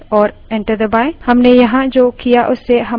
ls type करें और enter दबायें